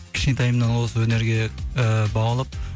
кішкентайымнан осы өнерге ііі баулып